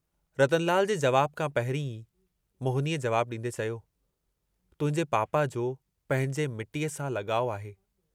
रतनलाल जे जवाब खां पहिरीं ई मोहिनीअ जवाबु डींदे चयो, तुहिंजे पापा जो पंहिंजे मिट्टीअ सां लगाउ आहे।